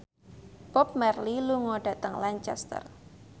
Bob Marley lunga dhateng Lancaster